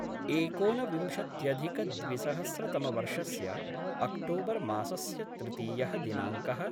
एकोनविंशत्यधिकद्विसहस्रतमवर्षस्य अक्टोबर्मासस्य तृतीयः दिनाङ्क: